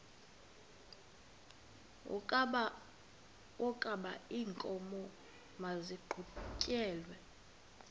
wokaba iinkomo maziqhutyelwe